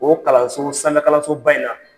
O kalanso sanfɛkalansoba in na